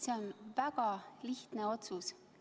See on väga lihtne otsus.